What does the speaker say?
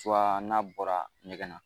Tuwa n'a bɔra ɲɛgɛn na.